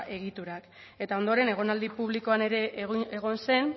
egiturak eta ondoren egonaldi publikoan ere egon zen